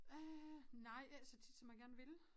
Øh nej ikke så tit som jeg gerne ville